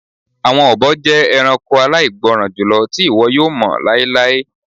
Awọn obo jẹ ẹranko alaigbọran julọ ti iwọ yoo mọ lailai